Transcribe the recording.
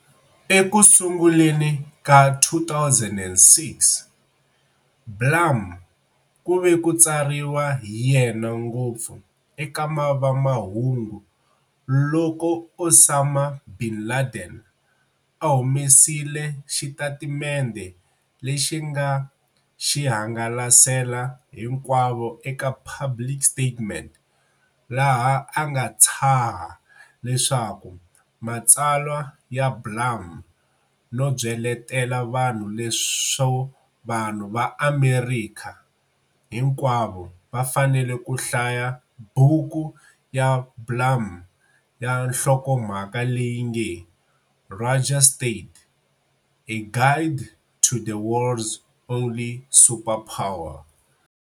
Ekusunguleni ka 2006, Blum ku ve ku tsariwa hi yena ngopfu eka vamahungu loko Osama bin Laden a humesile xitatimende lexi a nga xi hangalasela hinkwavo eka public statement laha a nga tshaha eka matsalwa ya Blum no byeletela vanhu leswo vanhu va Amerika hinkwavo va fanele ku hlaya buku ya Blum ya nhlokomhaka leyi nge-"Rogue State-A Guide to the World's Only Superpower".